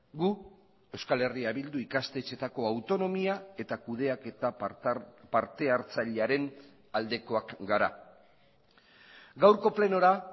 gu euskal herria bildu ikastetxeetako autonomia eta kudeaketa partehartzailearen aldekoak gara gaurko plenora